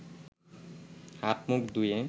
হাত-মুখ ধুয়ে